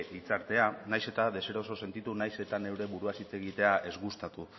hitzartea nahiz eta deseroso sentitu nahiz eta neure buruaz hitz egitea ez gustatu